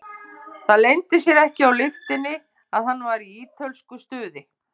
Það leyndi sér ekki á lyktinni að hann var í ítölsku stuði.